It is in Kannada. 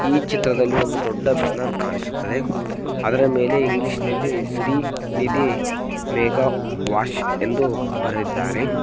ಈ ಚಿತ್ರದಲ್ಲಿ ಒಂದು ದೊಡ್ಡ ಬ್ಯಾನರ್ ಕಾಣಿಸುತ್ತದೆ ಅದರ ಮೇಲೆ ಇಂಗ್ಲೀಷ್ ನಲ್ಲಿ ಶ್ರೀ ನಿಧಿ ಮೇಘಾ ವಾಶ್ ಎಂದು ಬರೆದಿದ್ದಾರೆ.